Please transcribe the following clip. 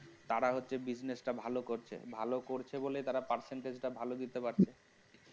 তারা হচ্ছে business টা ভালো করছে ভালো করছে বলে তারা percentage টা ভালো দিতে পারছে